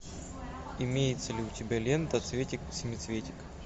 имеется ли у тебя лента цветик семицветик